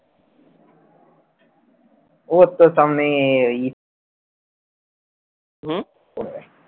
ও কোথাও নেই